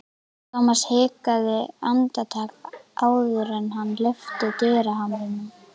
Thomas hikaði andartak áður en hann lyfti dyrahamrinum.